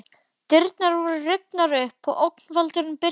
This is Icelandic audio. Dyrnar voru rifnar upp og ógnvaldurinn birtist.